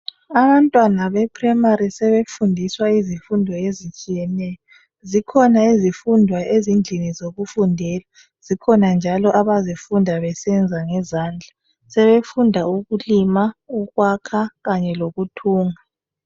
Abantwana be primary sebefundiswa izifundo ezitshiyeneyo zikhona izifundo ezindlini zokufundela zikhona njalo abazifunda besenza ngezandla sebefunda ukulima ukwakha kanye lokuthunga.